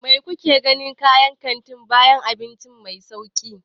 Me kuke gani a cikin kantin kayan abinci mai sauri?